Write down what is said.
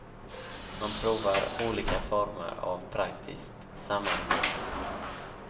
Man provar olika former av praktiskt samarbete.